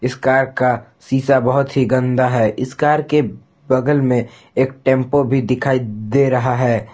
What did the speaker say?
Car का शीशा बहुत ही गंदा है इस कार के बगल में एक टेंपो भी दिखाई दे रहा है।